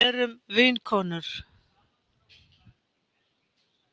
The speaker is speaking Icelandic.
Erum vinkonur.